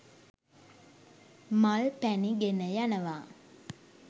මල් පැණි ගෙන යනවා.